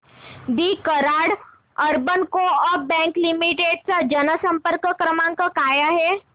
दि Karad urban co-op bank limited चा जनसंपर्क क्रमांक काय आहे